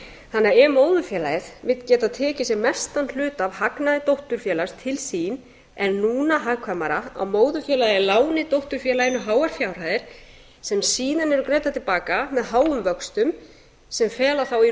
þannig að ef móðurfélagið vill geta tekið sem mestan hluta af hagnaði dótturfélags til sín er núna hagkvæmara að móðurfélagið láni dótturfélaginu háar fjárhæðir sem síðan eru greiddar til baka með háum vöxtum sem fela þá í